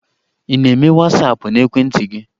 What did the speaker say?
Ị na-eme Wasaapụ n'ekwentị gị?